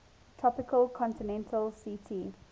tropical continental ct